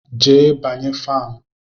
Jee banye fanụ!